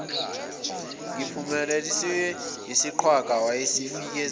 nguphumasilwe uyisiqhwaga wayezifikela